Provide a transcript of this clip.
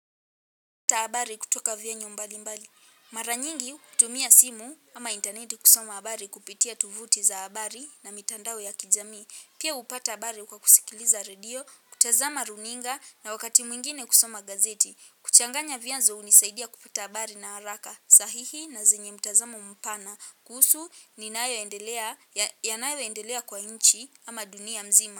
Taabari kutoka vyenu mbali mbali. Mara nyingi kutumia simu ama intaneti kusoma habari kupitia tuvuti za habari na mitandao ya kijamii. Pia hupata habari kwa kusikiliza redio, kutazama runinga na wakati mwingine kusoma gazeti. Kuchanganya vyanzo hunisaidia kupata habari na haraka. Pia hupata habari kwa kusikiliza redio, kutazama runinga na wakati mwingine kusoma gazeti. Kuchanganya vya nzo hunisaidia kupata habari ya haraka.